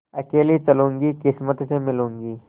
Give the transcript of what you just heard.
अकेली चलूँगी किस्मत से मिलूँगी